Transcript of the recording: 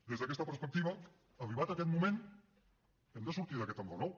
des d’aquesta perspectiva arribat aquest moment hem de sortir d’aquest enrenou